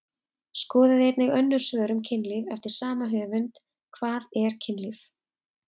Skoðið einnig önnur svör um kynlíf eftir sama höfund: Hvað er kynlíf?